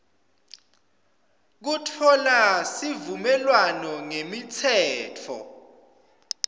kutfola sivumelwano ngemitsetfo